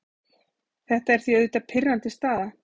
Þetta er því auðvitað pirrandi staða.